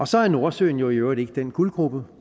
så er nordsøen jo i øvrigt ikke den guldgrube